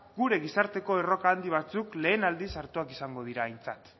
gure gizarteko erronka handi batzuk lehen aldiz hartuak izango dira aintzat